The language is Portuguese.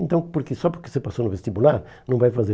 Então, porque só porque você passou no vestibular, não vai fazer.